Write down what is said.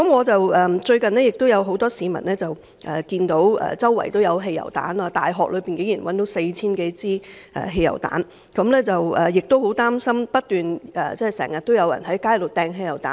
最後，很多市民看到四處也有汽油彈，大學內竟然發現4000多枚汽油彈，大家都十分擔心，因為經常有人在街上擲汽油彈。